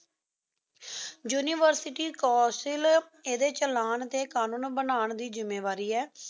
university council ਇਹਦੇ ਚਲਾੰਨ ਤੇ ਕਾਨੂਨ ਬਨੂੰ ਦੀ ਜ੍ਮਿਵਾਰੀ ਏ